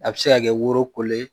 A bɛ se ka kɛ woro kolo ye